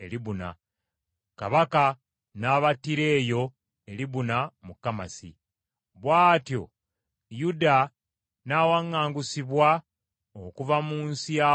Kabaka n’abattira eyo e Libuna, mu Kamasi. Bw’atyo Yuda n’awaŋŋangusibwa, okuva mu nsi ya boobwe.